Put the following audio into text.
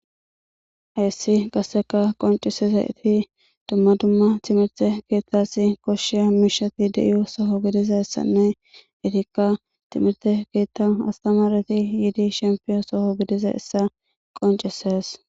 hayssi qasseka qoncise zayeti dumma dumma timirte keettasi koshshiya miishati de7iyo soho gidiza essanne etikka timirte keetta astamareti yiidi shempiyon soho gidiza essa qoncises